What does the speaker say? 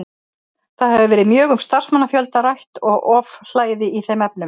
Það hefur verið mjög um starfsmannafjölda rætt og ofhlæði í þeim efnum.